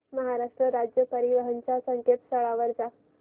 महाराष्ट्र राज्य परिवहन च्या संकेतस्थळावर जा